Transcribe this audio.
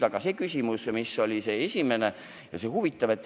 Aga nüüd see esimene küsimus, ja see on huvitav.